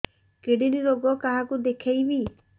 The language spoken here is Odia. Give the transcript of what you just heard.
କିଡ଼ନୀ ରୋଗ କାହାକୁ ଦେଖେଇବି